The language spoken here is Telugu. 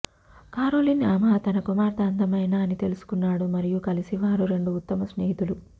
కారోలిన్ ఆమె తన కుమార్తె అందమైన అని తెలుసుకున్నాడు మరియు కలిసి వారు రెండు ఉత్తమ స్నేహితులు